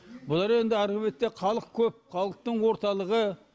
бұлар енді арғы бетте халық көп халықтың орталығы